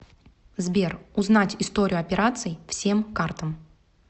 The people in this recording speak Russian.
сбер узнать историю операций всем картам